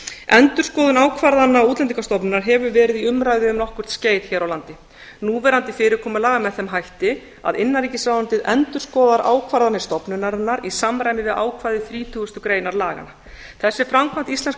endurskoðun ákvarðana útlendingastofnunar hefur verið í umræðu um nokkurt skeið hér á landi núverandi fyrirkomulag er með þeim hætti að innanríkisráðuneytið endurskoðar ákvarðanir stofnunarinnar í samræmi við ákvæði þrítugustu greinar laganna þessi framkvæmd íslenskra